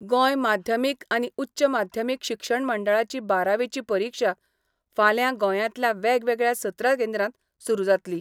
गोंय माध्यमीक आनी उच्च माध्यमीक शिक्षण मंडळाची बारावेची परिक्षा फाल्यां गोंयांतल्या वेगवेगळ्या सतरा केंद्रांत सुरू जातली.